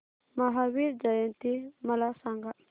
महावीर जयंती मला सांगा